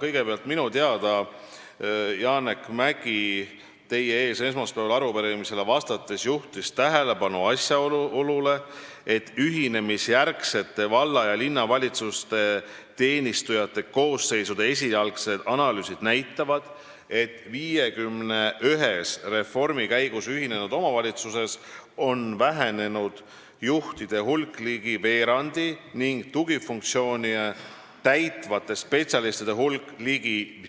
Kõigepealt, minu teada juhtis Janek Mäggi esmaspäeval teie ees arupärimisele vastates tähelepanu asjaolule, et ühinemisjärgsete valla- ja linnavalitsuste teenistujate koosseisude esialgsed analüüsid näitavad, et 51-s reformi käigus ühinenud omavalitsuses on vähenenud juhtide hulk ligi veerandi ning tugifunktsioone täitvate spetsialistide hulk ligi